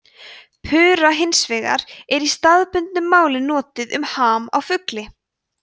pura hins vegar er í staðbundnu máli notað um ham á fugli